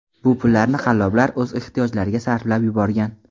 Bu pullarni qalloblar o‘z ehtiyojlariga sarflab yuborgan.